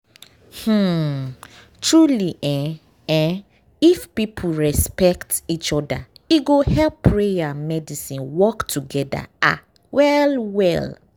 um truely um eeh if people respect each oda e go help prayer and medicine work togeda ah well well.